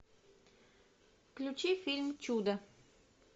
включи фильм чудо